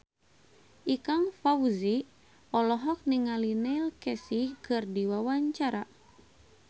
Ikang Fawzi olohok ningali Neil Casey keur diwawancara